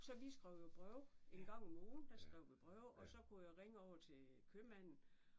Så vi skrev jo breve. En gang om ugen der skrev vi breve og så kunne jeg ringe over til købmanden